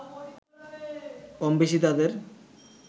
কমবেশি তাদের